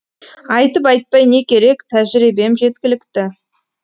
айтып айтпай не керек тәжірибем жеткілікті